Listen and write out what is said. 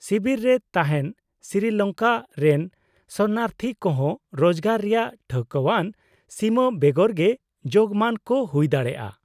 -ᱥᱤᱵᱤᱨ ᱨᱮ ᱛᱟᱦᱮᱱ ᱥᱨᱤᱞᱚᱝᱠᱟ ᱨᱮᱱ ᱥᱚᱨᱚᱱᱟᱨᱛᱷᱤ ᱠᱚᱦᱚᱸ ᱨᱳᱡᱜᱟᱨ ᱨᱮᱭᱟᱜ ᱴᱷᱟᱹᱣᱠᱟᱹᱣᱟᱱ ᱥᱤᱢᱟᱹ ᱵᱮᱜᱚᱨ ᱜᱮ ᱡᱳᱜᱢᱟᱱ ᱠᱚ ᱦᱩᱭ ᱫᱟᱲᱮᱭᱟᱜᱼᱟ ᱾